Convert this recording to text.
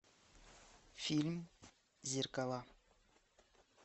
фильм зеркала